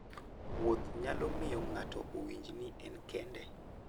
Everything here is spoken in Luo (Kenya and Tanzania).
Wuoth nyalo miyo ng'ato owinj ni en kende.